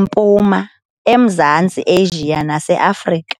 Mpuma, eMzantsi Asia naseAfrika.